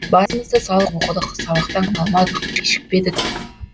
басымызды салып оқыдық сабақтан қалмадық кешікпедік